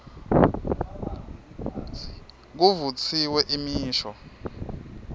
kuvutsiwe imisho